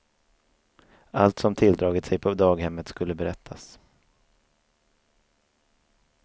Allt som tilldragit sig på daghemmet skulle berättas.